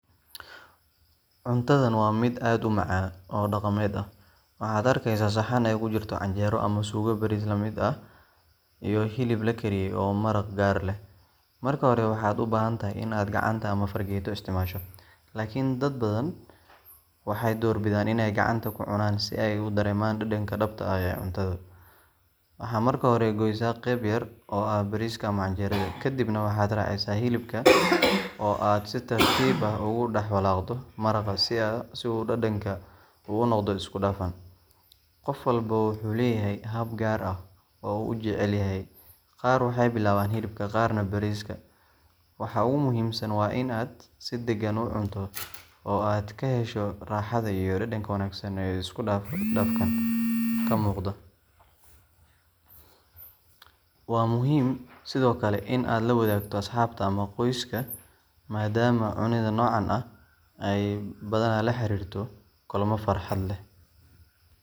Cuntadan waa mid aad u macaan oo dhaqameed ah. Waxaad arkeysaa saxan ay ku jirto canjeero ama suugo bariis la mid ah iyo hilib la kariyay oo maraq yar leh. Marka hore waxaad u baahan tahay in aad gacanta ama fargeeto isticmaasho, laakiin dad badan waxay doorbidaan in ay gacanta ku cunaan si ay u dareemaan dhadhanka dhabta ah ee cuntada. Waxaad marka hore gooysaa qeyb yar oo ah bariiska ama canjeerada, kaddibna waxaad raacisaa hilibka oo aad si tartiib ah ugu dhex walaaqdo maraqa si uu dhadhanka u noqdo isku dhafan. Qof walba wuxuu leeyahay hab gaar ah oo uu u jecel yahay qaar waxay bilaabaan hilibka, qaarna bariiska. Waxa ugu muhiimsan waa in aad si dagan u cunto oo aad ka hesho raaxada iyo dhadhanka wanaagsan ee isku dhafkaan ka muuqda. Waa muhiim sidoo kale in aad la wadaagto asxaabta ama qoyska, maadaama cunidda noocan ah ay badanaa la xiriirto kulammo farxad leh.